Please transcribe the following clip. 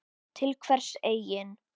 Til hvers eigin